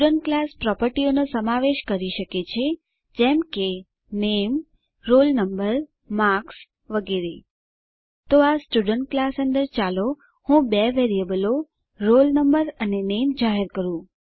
student class પ્રોપર્ટીઓનો સમાવેશ કરી શકે છે જેમ કે નામે રોલ નંબર માર્ક્સ વગેરે તો આ સ્ટુડન્ટ ક્લાસ અંદર ચાલો હું બે વેરીએબલો રોલ નંબર અને નામે જાહેર કરું